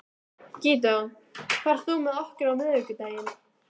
Gídeon, ferð þú með okkur á miðvikudaginn?